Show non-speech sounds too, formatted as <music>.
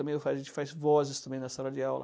<unintelligible> A gente faz faz vozes também na sala de aula.